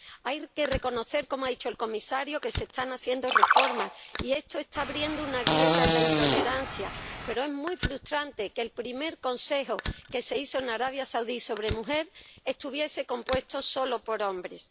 Hay que reconocer, como ha dicho el comisario, que se están haciendo reformas y esto está abriendo una grieta en la intolerancia, pero es muy frustrante que el primer consejo que se hizo en Arabia Saudí sobre la mujer estuviese compuesto solo por hombres.